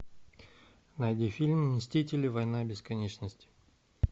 найди фильм мстители война бесконечности